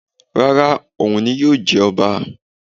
Rárá, òun ni yóò jẹ ọba